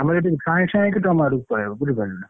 ଆମର ସାଇଁ ସାଇଁ ହେଇକି ତମ ଆଡକୁ ପଳେଇବ ବୁଝିପାରିଲୁନା।